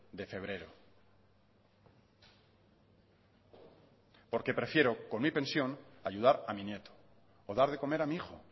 de febrero porque prefiero con mi pensión ayudar a mi nieto o dar de comer a mi hijo